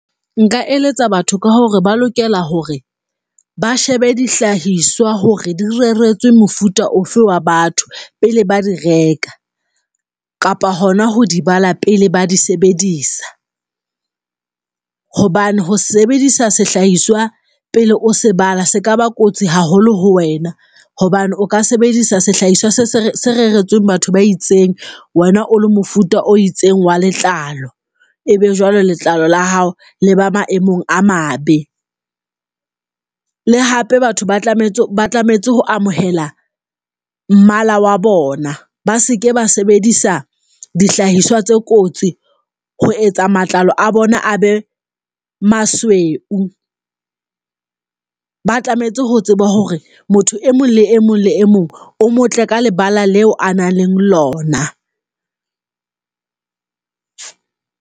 Nka eletsa batho ka hore ba lokela hore ba shebe dihlahiswa hore di reretswe mofuta ofe wa batho pele ba di reka kapa hona ho di bala, pele ba di sebedisa hobane ho sebedisa sehlahiswa pele o se bala se kaba kotsi haholo ho wena, hobane o ka sebedisa sehlahiswa se se reretsweng batho ba itseng, wena o le mofuta o itseng wa letlalo, e be jwalo letlalo la hao le ba maemong a mabe le hape batho ba tlametse ba tlametse ho amohela mmala wa bona, ba seke ba sebedisa dihlahiswa tse kotsi ho etsa matlalo a bona, a be masweu. Ba tlametse ho tseba hore motho e mong le e mong le e mong o motle ka lebala leo a naleng lona.